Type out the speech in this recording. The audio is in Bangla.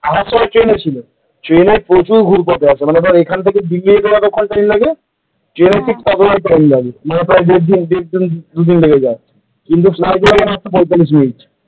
আসার সময় ট্রেনে গিয়েছিলাম ট্রেনে প্রচুর ঘুরপথে আছে মনে ধর দিয়ে , ট্রেনেও ঠিক ততটাই টাইম লাগে দুদিন লেগে যায় ফ্লাইটে গেলে মাত্র পইতালিশ মিনিট ।